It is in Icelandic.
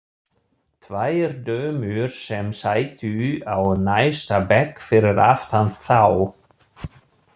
Tvær dömur sem sátu á næsta bekk fyrir aftan þá.